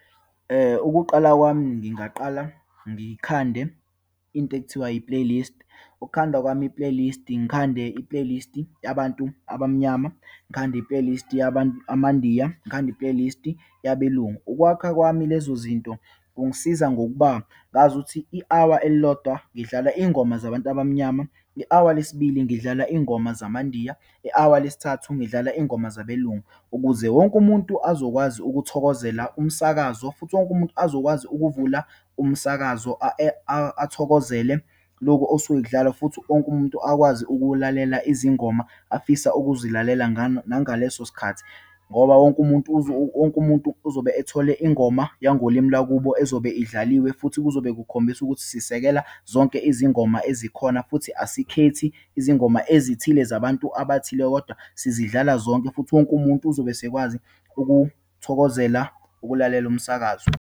Ukuqala kwami, ngingaqala ngikhande into ekuthiwa yi-playlist. Ukukhanda kwami i-playlist-i, ngikhande i-playlist-i yabantu abamnyama, ngikhande i-playlist-i amaNdiya, ngikhande i-playlist-i yabeLungu. Ukwakha kwami lezozinto kungisiza ngokuba ngazuthi i-hour elilodwa ngidlala iyingoma zabantu abamnyama, i-hour lesibili ngidlala iyingoma zamaNdiya, i-hour lesithathu ngidlala iyingoma zabeLungu. Ukuze wonke umuntu azokwazi ukuthokozela umsakazo, futhi wonke umuntu azokwazi ukuvula umsakazo akuthokozele lokhu okusuke kudlalwa. Futhi wonke umuntu akwazi ukuwulalela izingoma afisa ukuzilalela nangaleso sikhathi, ngoba wonke umuntu wonke umuntu uzobe ethole ingoma yangolimi lwakubo ezobe idlaliwe. Futhi kuzobe kukhombisa ukuthi sisekela zonke izingoma ezikhona, futhi asikhethi izingoma ezithile, zabantu abathile kodwa sizidlala zonke. Futhi wonke umuntu uzobe esekwazi ukuthokozela ukulalela umsakazo.